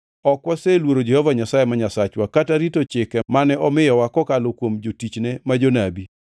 ok waseluoro Jehova Nyasaye ma Nyasachwa, kata rito chike mane omiyowa kokalo kuom jotichne ma jonabi.